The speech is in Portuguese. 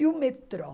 E o metrô?